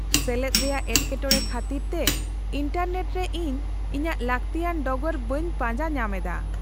-ᱥᱮᱞᱮᱫ ᱨᱮᱭᱟᱜ ᱮᱴᱠᱮᱴᱚᱬᱮ ᱠᱷᱟᱹᱛᱤᱨ ᱛᱮ ᱤᱱᱴᱟᱨᱱᱮᱴ ᱨᱮ ᱤᱧ ᱤᱧᱟᱹᱜ ᱞᱟᱠᱛᱤᱭᱟᱱ ᱰᱚᱜᱚᱨ ᱵᱟᱹᱧ ᱯᱟᱡᱟᱸ ᱧᱟᱢ ᱮᱫᱟ ᱾